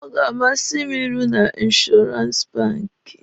Ọ ga-amasị m ịrụ na inshọrans banki.